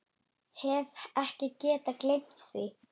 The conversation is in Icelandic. Hef ekki getað gleymt því.